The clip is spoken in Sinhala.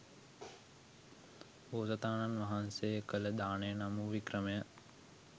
බෝසතාණන් වහන්සේ කළ දානය නම් වූ වික්‍රමය